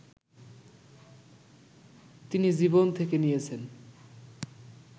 তিনি জীবন থেকে নিয়েছেন